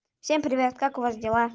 всем привет как у вас дела